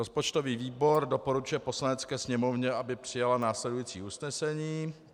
Rozpočtový výbor doporučuje Poslanecké sněmovně, aby přijala následující usnesení: